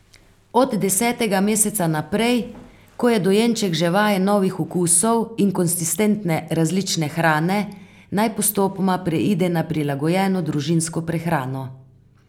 Od desetega meseca naprej, ko je dojenček že vajen novih okusov in konsistence različne hrane, naj postopoma preide na prilagojeno družinsko prehrano.